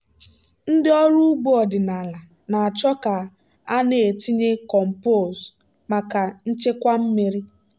ndị ọrụ ugbo ọdịnala na-achọ ka a na-etinye compose maka nchekwa mmiri